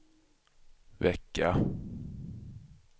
vecka